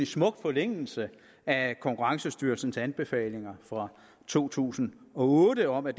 smuk forlængelse af konkurrencestyrelsens anbefalinger fra to tusind og otte om at